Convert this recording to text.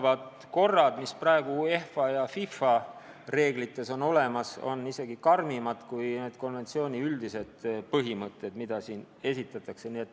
Ja korrad, mida praegu sisaldavad UEFA ja FIFA reeglid, on isegi karmimad kui konventsiooni üldised põhimõtted.